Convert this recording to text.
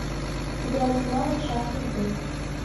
играть в навык шар судьбы